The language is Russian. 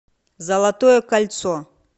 золотое кольцо